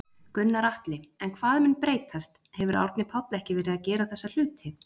Gunnar Atli: En hvað mun breytast, hefur Árni Páll ekki verið að gera þessa hluti?